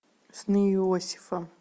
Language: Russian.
сны иосифа